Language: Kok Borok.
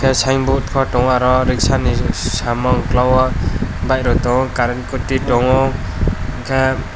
tai sighn boat bo tongo oro resa ni samung kela o bike rok tongo current tui tongo unke.